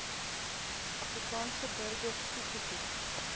afrikaanse burgers toegeken